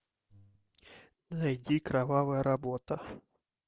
зайти кровавая работа